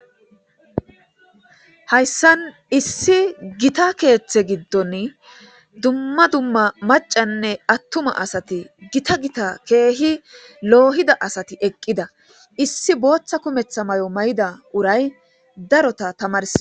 hayssan issi gita keeththe giddoni dumma dumma macanne attuma asati gita gita keehi loohida asati eqqida issi booththa kumetha mayo mayida uray darota tamars.